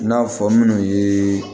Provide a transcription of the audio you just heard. I n'a fɔ minnu ye